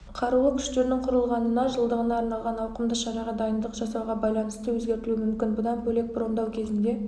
қарулы күштерінің құрылғанына жылдығына арналған ауқымды шараға дайындық жасауға байланысты өзгертілуі мүмкін бұдан бөлек брондау кезінде